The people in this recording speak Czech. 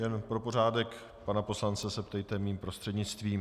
Jen pro pořádek, pana poslance se ptejte mým prostřednictvím.